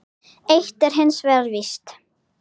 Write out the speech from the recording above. Eitt er hins vegar víst.